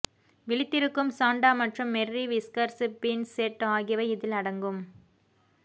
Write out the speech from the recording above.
விழித்திருக்கும் Santa மற்றும் Merry Whiskers beans set ஆகியவை இதில் அடங்கும்